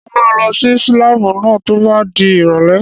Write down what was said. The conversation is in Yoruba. Mo máa lọ sí láàbù náà tó bá di ìrọ̀lẹ́